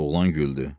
Oğlan güldü.